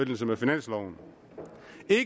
med finansloven